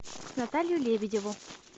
наталью лебедеву